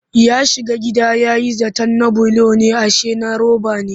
Ya shiga gida ya yi zaton na bulo ne ashe na roba ne